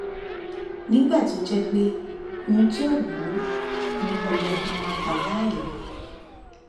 nígbà tó jẹ pé ohun tó wù ú ni kò yẹ ká má gbà á láàyè